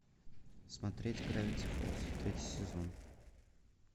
смотреть гравити фолз третий сезон